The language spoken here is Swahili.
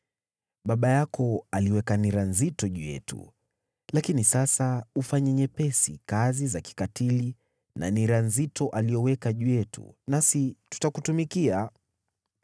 “Baba yako aliweka nira nzito juu yetu, lakini sasa tupunguzie kazi za kikatili na nira nzito aliyoweka juu yetu, nasi tutakutumikia.”